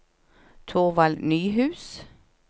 Thorvald Nyhus